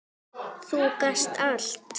Þú gast allt!